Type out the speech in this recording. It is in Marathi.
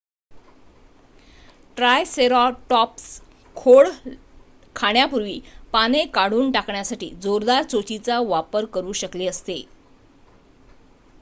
ट्रायसेरॉटॉप्स खोड खाण्यापूर्वी पाने काढून टाकण्यासाठी जोरदार चोचीचा वापर करू शकले असते